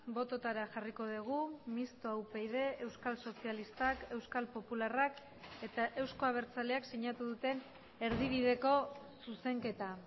bototara jarriko dugu mistoa upyd euskal sozialistak euskal popularrak eta euzko abertzaleak sinatu duten erdibideko zuzenketa